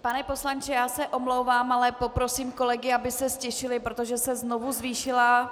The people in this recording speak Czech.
Pane poslanče, já se omlouvám, ale poprosím kolegy, aby se ztišili, protože se znovu zvýšila